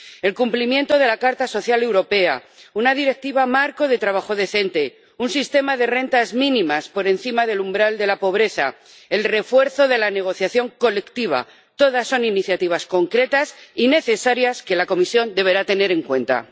El cumplimiento de la Carta Social Europea, una Directiva marco sobre el trabajo decente, un sistema de rentas mínimas por encima del umbral de la pobreza, el refuerzo de la negociación colectiva todas son iniciativas concretas y necesarias que la Comisión deberá tener en cuenta.